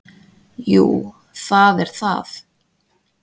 Jú það er það.